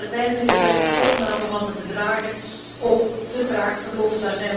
Maar uiteindelijk is de opname van de bedragen ook te traag verlopen.